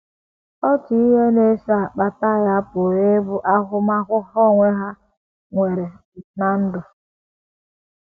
Otu ihe na - eso akpata ya pụrụ ịbụ ahụmahụ ha onwe ha nwere ná ndụ.